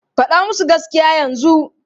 Faɗa musu gaskiya yanzu!